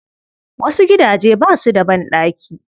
Wasu gidaje ba su da banɗaki.